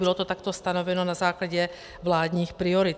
Bylo to takto stanoveno na základě vládních priorit.